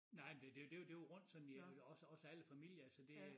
Nej det det det var rundt sådan i også også alle familier altså det